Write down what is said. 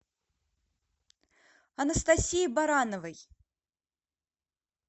анастасии барановой